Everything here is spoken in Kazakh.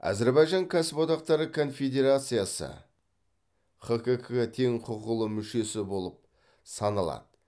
әзірбайжан кәсіподақтары конфедерациясы хкк тең құқылы мүшесі болып саналады